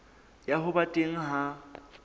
ya ho ba teng ha